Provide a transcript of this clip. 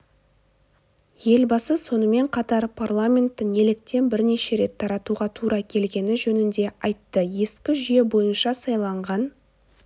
елбасы сонымен қатар парламентті неліктен бірнеше рет таратуға тура келгені жөнінде айтты ескі жүйе бойынша сайланған